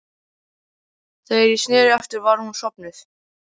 Þegar ég sneri aftur var hún sofnuð.